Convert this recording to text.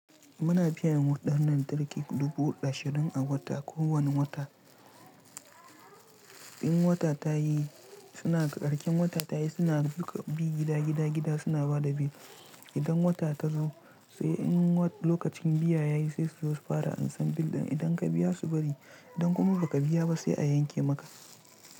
Muna biyan waɗannan tarki dubu ashirin a wata, kowane wata. In wata ta yi, suna, ƙarƙen wata ta yi, suna bi gida gida gida suna ba da bill. Idan wata ta zo, sai, in lokacin biya ya yi sai su zo su fara ansan bill ɗin. Idan ka biya su bari, idan kuma ba ka biya ba sai a yanke maka.